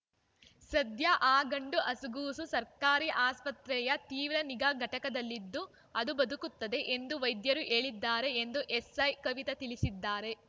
ಸದ್ಯ ಆ ಗಂಡು ಹಸುಗೂಸು ಸರ್ಕಾರಿ ಆಸ್ಪತ್ರೆಯ ತೀವ್ರ ನಿಗಾ ಘಟಕದಲ್ಲಿದ್ದು ಅದು ಬದುಕುತ್ತದೆ ಎಂದು ವೈದ್ಯರು ಹೇಳಿದ್ದಾರೆ ಎಂದು ಎಸ್‌ಐ ಕವಿತಾ ತಿಳಿಸಿದ್ದಾರೆ